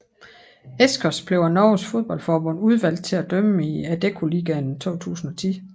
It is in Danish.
Eskås blev af Norges fodboldforbund udvalgt til at dømme i Adeccoligaen 2010